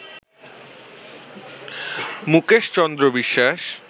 Mukesh Chandra Biswas